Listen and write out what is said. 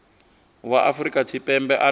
wa afrika tshipembe a ṱo